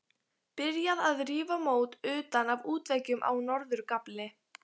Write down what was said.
Byrjað að rífa mót utan af útveggjum á norður gafli.